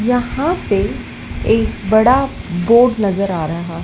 यहां पे एक बड़ा बोर्ड नजर आ रहा--